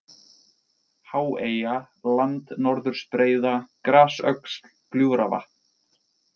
Háeyja, Landnorðursbreiða, Grasöxl, Gljúfravatn